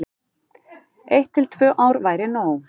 Eitt til tvö ár væri nóg.